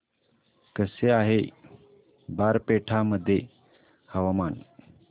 कसे आहे बारपेटा मध्ये हवामान